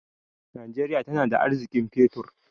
Najeriya tana da arziƙin fetur.